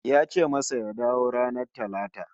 Ya ce masa ya dawo ranar Talata